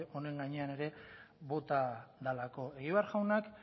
honen gainean ere bota dalako egibar jaunak